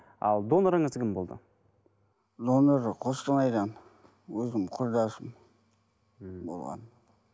ал донорыңыз кім болды донор қостанайдан өзімнің құрдасым мхм болған